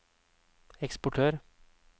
eksportør